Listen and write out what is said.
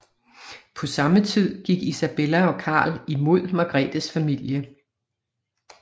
På samme tid gik Isabella og Karl imod Margretes familie